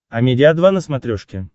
амедиа два на смотрешке